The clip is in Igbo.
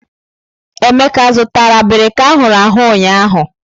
Emeka zụtara abirika ahụrụ ahụ ụnyaahụ?